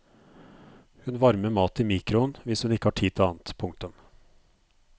Hun varmer mat i mikro'en hvis hun ikke har tid til annet. punktum